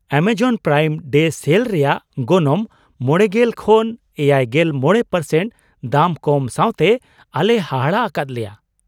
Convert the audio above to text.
ᱮᱢᱚᱡᱚᱱ Prime Day sale ᱨᱮᱭᱟᱜ ᱜᱚᱱᱚᱝ ᱕᱐ᱼ᱗᱕% ᱫᱟᱢ ᱠᱚᱢ ᱥᱟᱣᱛᱮ ᱟᱞᱮᱭ ᱦᱟᱦᱟᱲᱟᱜ ᱟᱠᱟᱫ ᱞᱮᱭᱟ ᱾